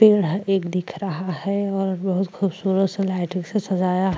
पेड़ हैं एक दिख रहा है और बहुत खूबसूरत से लाइटिंग से सजाया --